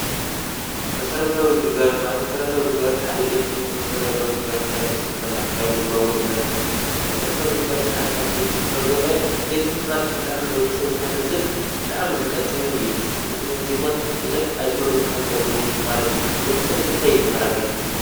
መሠረታዊ ግልጋለት ማለት መሠረታዊ ግልጋለት ሓደ ቤት ትምህርቲ መሠረታዊ ግልጋልት ኢላን ወስድ ንኽና ማይ ቦምባውን ኢልናኽንወስድ ንኽና መሠረታዊ ግልጋለት ሓደካብቲ ቤ ትምህርቲ ካብ ዘናዮ ቤት ትምህርቲ ማለት ብጥዕምንወድሰብ ዝሓንጽን ብጥዕም ዝጠቅምን እዩ ንትምህርቲ ይኾን ብዙኅ ኣይእምሮኡ ዝሓንጸሉ ማለት እዩ ወድሰብ ንምንተይይመሃራ ቤት ትምህርቲ